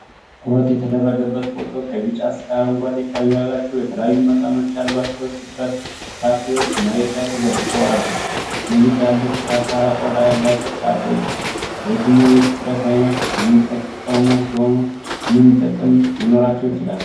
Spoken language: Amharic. ትኩረት የተደረገበት ፎቶ ከቢጫ እስከ አረንጓዴ ቀለም ያላቸው የተለያዩ መጠኖች ያላቸው ሲትረስ ፍራፍሬዎች መሬት ላይ ተዘርግተው አለ፤ እነዚህ ትላልቅ፣ ሻካራ ቆዳ ያላቸው ፍራፍሬዎች ለየትኛው የሲትረስ አይነት የሚጠቁሙ ሲሆን ምን ጥቅም ሊኖራቸው ይችላል?